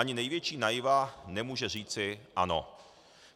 Ani největší naiva nemůže říci ano.